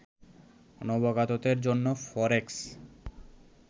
নবাগতদের জন্য ফরেক্স